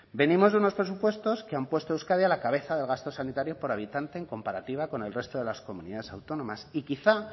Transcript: venimos de unos presupuestos que han puesto a euskadi a la cabeza de gasto sanitario por habitante en comparativa con el resto de las comunidades autónomas y quizá